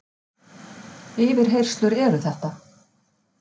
Yfirheyrslur eru þetta!